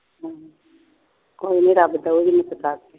ਕੋਈ ਨੀ ਰੱਬ ਨੂੰ ਕਰੂਗੀ ਸਿਫਾਰਿਸ਼